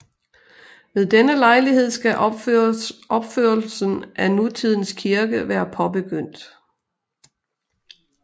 Ved denne lejlighed skal opførelsen af nutidens kirke være påbegyndt